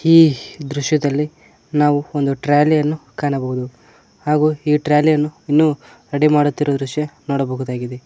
ಈ ದೃಶ್ಯದಲ್ಲಿ ನಾವು ಒಂದು ಟ್ರಾಲಿ ಯನ್ನು ಕಾಣಬಹುದು ಹಾಗು ಈ ಟ್ರಾಲಿ ಯನ್ನು ಇನ್ನು ರೆಡಿ ಮಾಡುತ್ತಿರುವ ದೃಶ್ಯ ನೋಡಬಹುದಾಗಿದೆ.